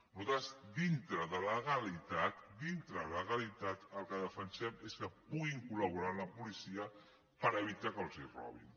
nosaltres dintre de la legalitat dintre de la legalitat el que defensem és que puguin col·laborar amb la policia per evitar que els robin